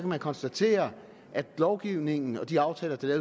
man konstatere at lovgivningen og de aftaler der er